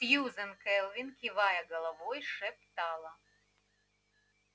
сьюзен кэлвин кивая головой шептала